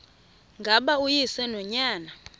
ngaba uyise nonyana